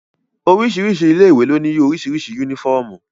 Oríṣiríṣi ilé ìwé ló ní oríṣiríṣi yúnífọ̀mù